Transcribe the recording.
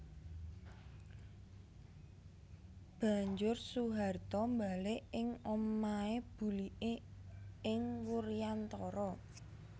Banjur Soeharto mbalik ing omahé buliké ing Wuryantara